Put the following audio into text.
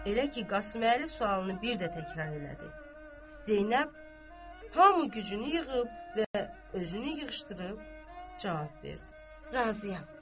Elə ki Qasıməli sualını bir də təkrar elədi, Zeynəb, hamı gücünü yığıb və özünü yığışdırıb cavab verdi: Razıyam.